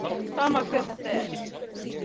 Sama hver þetta er.